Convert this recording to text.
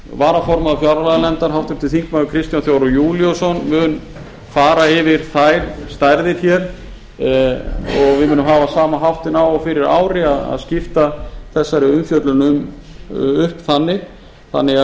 varaformaður fjárlaganefndar háttvirtir þingmenn kristján þór júlíusson mun fara yfir þær stærðir og við munum hafa sama háttinn á og fyrir ári að skipta þessari umfjöllun upp þannig